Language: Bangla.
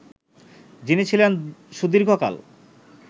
যিনি ছিলেন সুদীর্ঘকাল